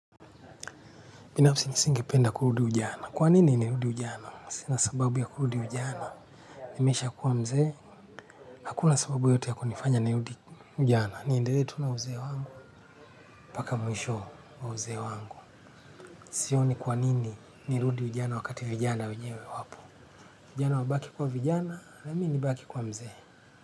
Binafsi mimi singependa kurudi ujana. Kwa nini nirudi ujana? Sina sababu ya kuruudi ujana. Nimeshakuwa mzee. Hakuna sababu yoyote ya kunifanya nirudi ujana. Niendelee tu na uzee wangu. Paaka mwisho wa uzee wangu. Sioni kwa nini nirudi ujana wakati vijana wenyewe wapo. Vijana wabaki kuwa vijana na mimi nibaki kuwa mzee.